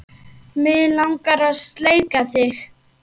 Mig langar að sleikja þig.